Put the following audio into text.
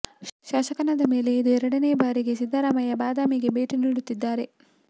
ಶಾಸಕನಾದ ಮೇಲೆ ಇದು ಎರಡನೇ ಬಾರಿ ಸಿದ್ದರಾಮಯ್ಯ ಬಾದಾಮಿಗೆ ಭೇಟಿ ನೀಡುತ್ತಿದ್ದಾರೆ